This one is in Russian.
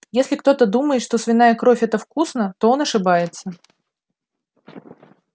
если кто-то думает что свиная кровь это вкусно то он ошибается